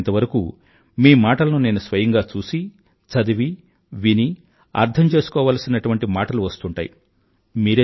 వీలయినంతవరకూ మీ మాటలను నేను స్వయంగా చూసి చదివి విని అర్థంచేసుకోవాల్సినటువంటి మాటలు వస్తుంటాయి